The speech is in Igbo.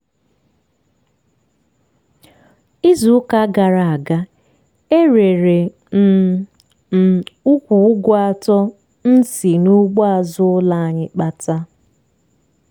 izu ụka gara aga e rere um m ukwu ụgụ atọ m si n'ugbo azụ ụlọ anyị kpata.